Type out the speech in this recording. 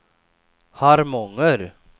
Harmånger